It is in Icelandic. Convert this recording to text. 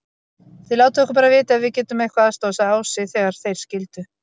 Þið látið okkur bara vita ef við getum eitthvað aðstoðað, sagði Ási þegar þeir skildu.